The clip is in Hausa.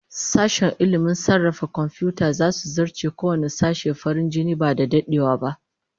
Sashen ilmin sarrafa komfiyuta zasu zarce kowanne sashe farin jini ba da dadewa ba